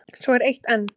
Svo er eitt enn.